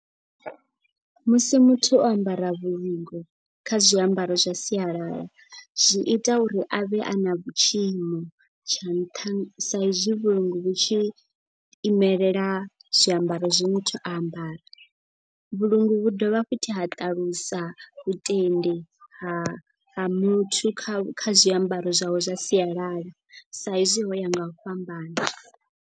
Musi muthu o ambara vhulungu kha zwiambaro zwa sialala. Zwi ita uri a vhe a na vhu tshiimo tsha nṱha sa izwi vhulungu vhu tshi imelela zwiambaro zwe muthu a ambara. Vhulungu vhu dovha futhi ha ṱalusa vhutendi ha muthu kha kha zwiambaro zwawe zwa sialala. Sa hezwi ho ya nga u fhambana.